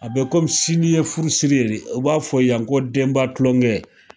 A bɛ kɔmi sini ye furusiri ye, o b'a fɔ yan ko denba tulongɛ,